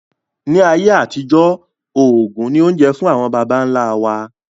Ni ayé àtijọ́, oògùn ni oúnjẹ fún àwọn bàbà ńla wa.